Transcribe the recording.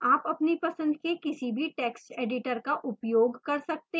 आप अपनी पसंद के किसी भी text editor का उपयोग कर सकते हैं